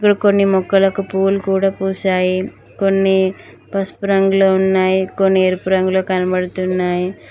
కొన్ని మొక్కలకు పూలు కూడా పూశాయి కొన్ని పసుపు రంగులో ఉన్నాయి కొన్ని ఎరుపు రంగులో కనబడుతున్నాయి